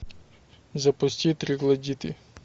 запусти троглодиты